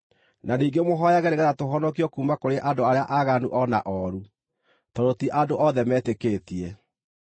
Na ningĩ mũhooyage nĩgeetha tũhonokio kuuma kũrĩ andũ arĩa aaganu o na ooru, tondũ ti andũ othe metĩkĩtie.